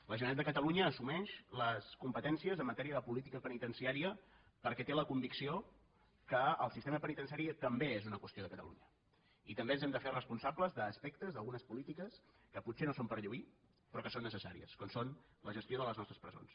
la generalitat de catalunya assumeix les competències en matèria de política penitenciària perquè té la convicció que el sistema penitenciari també és una qüestió de catalunya i també ens hem de fer responsables d’aspectes d’algunes polítiques que potser no són per lluir però que són necessàries com és la gestió de les nostres presons